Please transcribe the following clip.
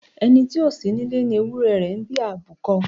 Ẹni tí ó sí nílé ni ewúrẹ́ rẹ̀ ń bí àbúkọ.